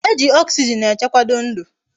Eji oxygen echekwado ndu